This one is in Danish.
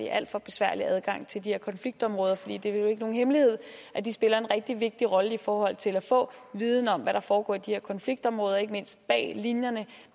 alt for besværlig adgang til de her konfliktområder for det er jo ikke nogen hemmelighed at de spiller en rigtig vigtig rolle i forhold til at få viden om hvad der foregår i de her konfliktområder ikke mindst bag linjerne